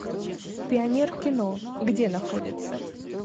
пионер кино где находится